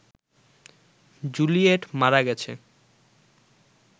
Juliet মারা গেছে